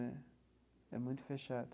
Né é muito fechado.